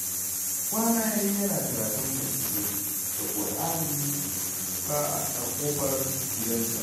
Kwana ya yi yana karatun hadisai da Ƙur'ani fa a ƙofar gidansa